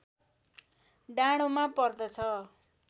डाँडोमा पर्दछ